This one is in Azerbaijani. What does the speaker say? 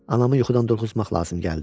Anamı yuxudan durğuzmaq lazım gəldi.